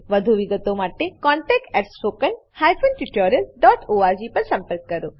વધુ વિગતો માટે કૃપા કરી contactspoken tutorialorg પર લખો